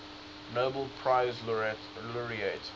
nobel prize laureate